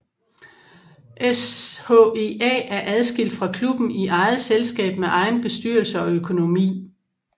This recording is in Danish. SHEA er adskilt fra klubben i eget selskab med egen bestyrelse og økonomi